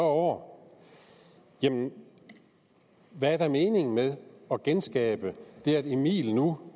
år jamen hvad er da meningen med at genskabe det at emil nu